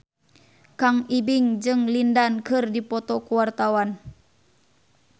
Kang Ibing jeung Lin Dan keur dipoto ku wartawan